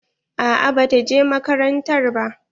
A'a ba ta je makarantar ba.